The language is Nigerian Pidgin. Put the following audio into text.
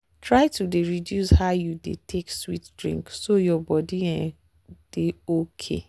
try to dey reduce how you dey take sweet drink so your body go dey okay.